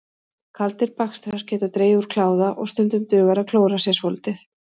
Kaldir bakstrar geta dregið úr kláða og stundum dugar að klóra sér svolítið.